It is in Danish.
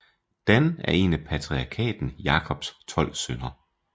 Dan er en af patriarken Jakobs tolv sønner